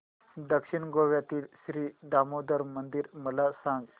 दक्षिण गोव्यातील श्री दामोदर मंदिर मला सांग